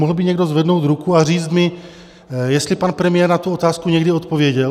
Mohl by někdo zvednout ruku a říct mi, jestli pan premiér na tu otázku někdy odpověděl?